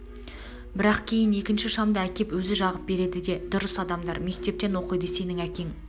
бірақ кейін екінші шамды әкеп өзі жағып береді де дұрыс адамдар мектептің оқиды сенің әкең